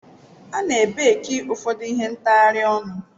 A ne baki ụfọdụ ihe ntghari onu.